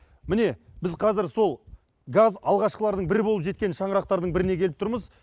міне біз қазір сол газ алғашқылардың бірі болып жеткен шаңырақтардың біріне келіп тұрмыз